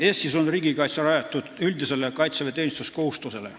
Eestis on riigikaitse rajatud üldisele kaitseväeteenistuskohustusele.